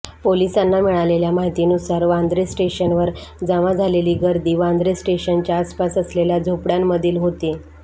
पोलिसांना मिळालेल्या माहितीनुसार वांद्रे स्टेशनवर जमा झालेली गर्दी वांद्रे स्टेशनच्या आसपास असलेल्या झोपड्यांमधली होती